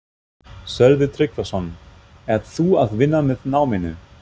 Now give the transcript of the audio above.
Sölvi Tryggvason: Ert þú að vinna með náminu?